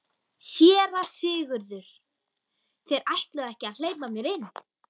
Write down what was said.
SÉRA SIGURÐUR: Þeir ætluðu ekki að hleypa mér inn.